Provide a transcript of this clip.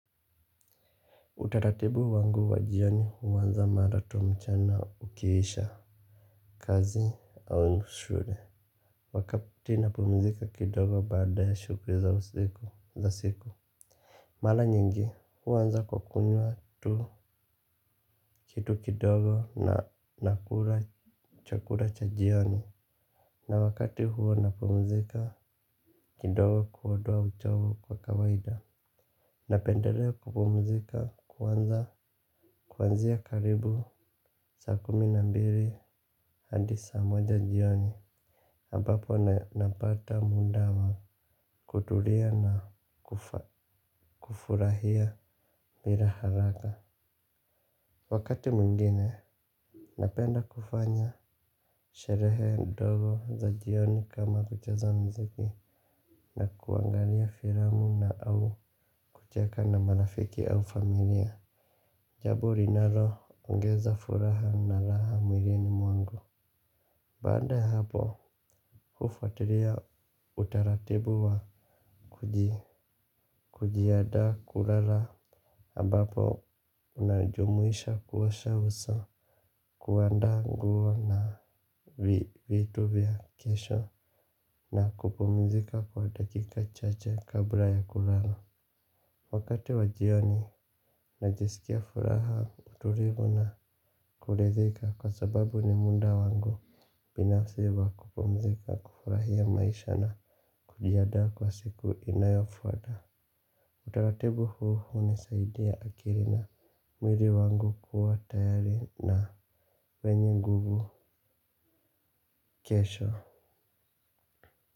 Utaratibu wangu wa jioni huanza mara tu mchana ukiisha kazi au shule. Wakati napumzika kidogo baada ya shughuli za usiku za siku. Mara nyingi huanza kwa kunywa tu kitu kidogo na nakula chakula cha jioni. Na wakati huo napumzika kidogo kuondoa uchovu kwa kawaida. Napendelea kupumzika kuanza kuanzia karibu saa kumi na mbili hadi saa moja jioni ambapo napata muda wa kutulia na kufurahia bila haraka. Wakati mwingine napenda kufanya sherehe ndogo za jioni kama kucheza mziki. Na kuangalia filamu na au kucheka na marafiki au familia. Jambo linaloongeza furaha na raha mwilini mwangu baada ya hapo, hufuatilia utaratibu wa kujiandaa kulala ambapo, unajumuisha kuosha uso kuandaa nguo na vitu vya kesho. Na kupumzika kwa dakika chache kabla ya kulala wakati wa jioni najisikia furaha utulivu na kuridhika kwa sababu ni muda wangu binafsi wa kupumzika kufurahia maisha na kujiandaa kwa siku inayofuata. Utaratibu huu hunisaidia akili na mwili wangu kuwa tayari na wenye nguvu kesho.